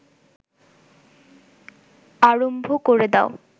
আরম্ভ ক’রে দাও